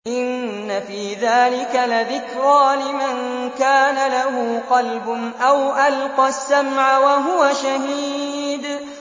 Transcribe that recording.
إِنَّ فِي ذَٰلِكَ لَذِكْرَىٰ لِمَن كَانَ لَهُ قَلْبٌ أَوْ أَلْقَى السَّمْعَ وَهُوَ شَهِيدٌ